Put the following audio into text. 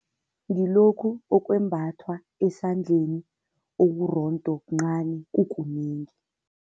Ngilokhu okwembathwa esandleni, okurondo, okuncani kukunengi.